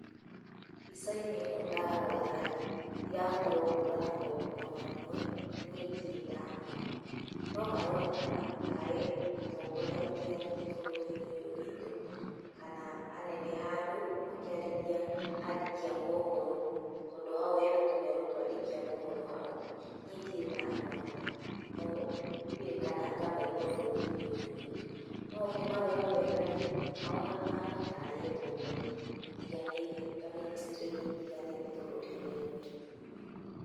Mbica inĩ ĩno ndarora rĩ ndirahota gũkũrana mũndũ ona ũmwe na nĩe ndirĩ ndamona no maronekana tarĩ atongoria matiganĩte bũrũri-inĩ ũyũ witũ kana anene handũ makĩarĩria andĩki a mohoro tondũ hau hena tũmero twa andĩki a mohoro hau nĩe ndire ndamona no kana ngamaigũa bũrũri-inĩ ũyũ witũ. No ũngĩmarora wega rĩ, mahana tari atongoria matiganĩte ta ministry inĩ itiganĩte bũrũri-inĩ ũyũ witũ.